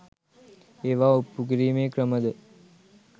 ඒවා ඔප්පු කිරීමේ ක්‍රම ද